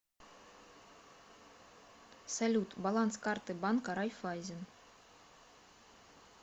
салют баланс карты банка райффайзен